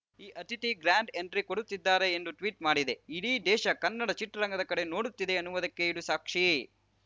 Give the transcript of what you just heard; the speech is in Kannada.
ಅತಿಥಿ ಗ್ಯಾಂಡ್‌ ಎಂಟ್ರಿ ಕೊಡುತ್ತಿದ್ದಾರೆ ಎಂದು ಟ್ವೀಟ್‌ ಮಾಡಿದೆ ಇಡೀ ದೇಶ ಕನ್ನಡ ಚಿತ್ರರಂಗದ ಕಡೆಗೆ ನೋಡುತ್ತಿದೆ ಅನ್ನುವುದಕ್ಕೆ ಇದು ಸಾಕ್ಷಿ